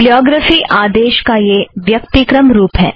bibliography आदेश का यह व्यक्तिक्रम रुप है